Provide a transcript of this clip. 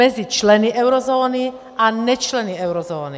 Mezi členy eurozóny a nečleny eurozóny.